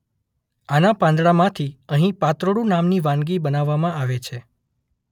આના પાંદડામાંથી અહીં પાત્રોડુ નામની વાનગી બનાવવામાં આવે છે.